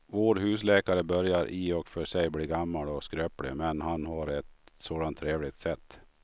Vår husläkare börjar i och för sig bli gammal och skröplig, men han har ju ett sådant trevligt sätt!